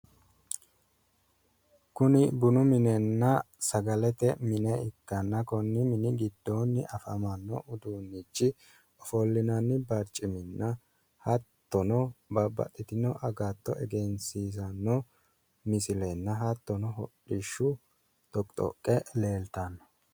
Kuni bunu minenna sagalete mine ikkanna konni mini giddoonni afamanno uduunnichi ofollinanni barciminna hattono babbaxxitino agatto egensiisanno misilenna hattono hodhishshu doqqi doqqe leeltanno.